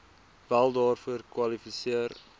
wel daarvoor kwalifiseer